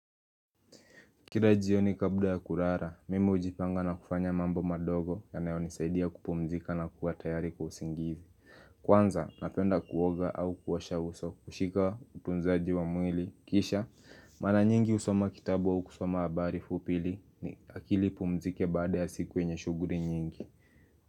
Kira jioni kabla ya kurara, mimi hujipanga na kufanya mambo madogo yanayonisaidia kupumzika na kuwa tayari kwa usingizi Kwanza, napenda kuoga au kuosha uso kushika utunzaji wa mwili Kisha, mara nyingi husoma kitabu au kusoma habari fupi ili akili ipumzike baada ya siku yenye shuguri nyingi.